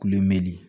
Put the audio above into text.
Kuloni